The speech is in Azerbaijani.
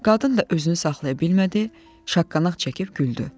Qadın da özünü saxlaya bilmədi, şaqqanaq çəkib güldü.